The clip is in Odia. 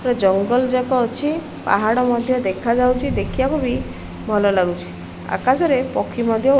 ପୁରା ଜଙ୍ଗଲ୍ ଜାକ ଅଛି ପାହାଡ ମଧ୍ୟ ଦେଖାଯାଉଛି ଦେଖିବାକୁ ବି ଭଲ ଲାଗୁଛି ଆକାଶରେ ପକ୍ଷୀ ମଧ୍ୟ --